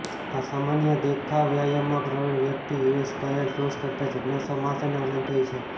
અસામાન્ય દેખાવ વ્યાયામમાં પ્રવીણ વ્યક્તિ યુએસ કાયલ રોસ કરતાં જિજ્ઞાસા માસ અને આનંદ થઇ છે